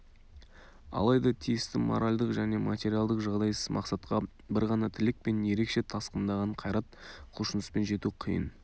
алайда тиісті моральдық және материалдық жағдайсыз мақсатқа бір ғана тілек пен ерекше тасқындаған қайрат құлшыныспен жету қиын